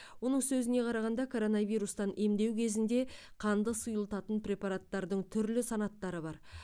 оның сөзіне қарағанда коронавирустан емдеу кезінде қанды сұйылтатын препараттардың түрлі санаттары бар